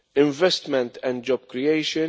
investment and job creation